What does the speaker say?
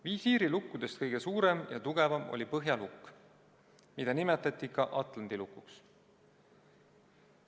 Visiirilukkudest kõige suurem ja tugevam oli põhjalukk, mida nimetati ka atlandi lukuks.